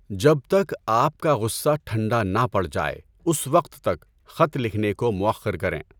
جب تک آپ کا غصہ ٹھنڈا نہ پڑ جائے اس وقت تک خط لکھنے کو مؤخر کریں۔